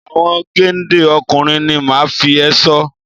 Àwọn géńdé ọkùnrin ni màá fi ẹ̀ṣọ́